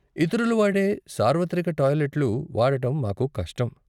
ఇతరులు వాడే సార్వత్రిక టాయిలెట్లు వాడటం మాకు కష్టం.